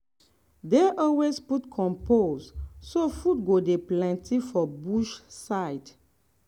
dey always put compost so food go dey plenty for bush side.